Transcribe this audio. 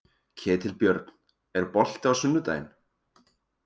Ketilbjörn, er bolti á sunnudaginn?